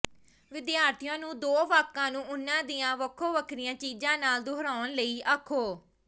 ਵਿਦਿਆਰਥੀਆਂ ਨੂੰ ਦੋ ਵਾਕਾਂ ਨੂੰ ਉਹਨਾਂ ਦੀਆਂ ਵੱਖੋ ਵੱਖਰੀਆਂ ਚੀਜ਼ਾਂ ਨਾਲ ਦੁਹਰਾਉਣ ਲਈ ਆਖੋ